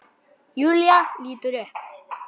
Júlía lítur upp.